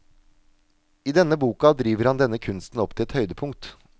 I denne boka driver han denne kunsten opp til et høydepunkt.